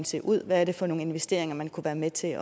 se ud hvad er det for nogle investeringer man kunne være med til